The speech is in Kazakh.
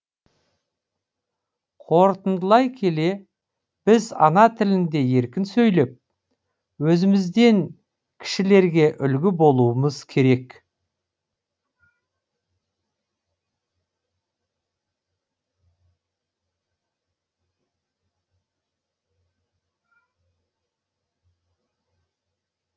қорытындылай келе біз ана тілінде еркін сөйлеп өзімізден кішілерге үлгі болуымыз керек